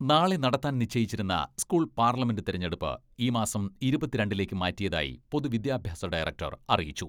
നാളെ നടത്താൻ നിശ്ചയിച്ചിരുന്ന സ്കൂൾ പാർലമെന്റ് തെരഞ്ഞെടുപ്പ് ഈ മാസം ഇരുപത്തിരണ്ടിലേക്ക് മാറ്റിയതായി പൊതുവിദ്യാഭ്യാസ ഡയറക്ടർ അറിയിച്ചു.